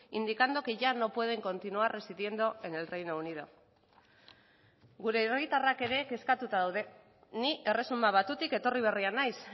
indicando que ya no pueden continuar residiendo en el reino unido gure herritarrak ere kezkatuta daude ni erresuma batutik etorri berria naiz